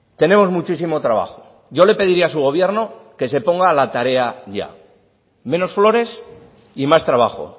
tenemos muchísimo trabajo yo le pediría a su gobierno que se ponga a la tarea ya menos flores y más trabajo